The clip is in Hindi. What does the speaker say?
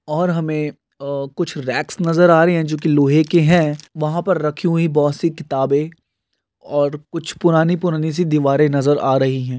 और हमे अ कुछ रेक्स नजर आ रहे है जो के लोहे के है वहाँ पर रखी हुई बहुत सी किताबे और कुछ पुरानी पुरानी सी दीवाले नजर आ रही है।